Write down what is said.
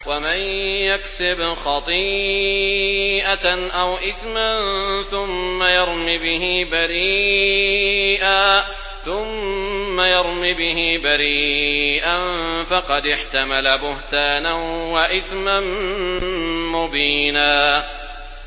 وَمَن يَكْسِبْ خَطِيئَةً أَوْ إِثْمًا ثُمَّ يَرْمِ بِهِ بَرِيئًا فَقَدِ احْتَمَلَ بُهْتَانًا وَإِثْمًا مُّبِينًا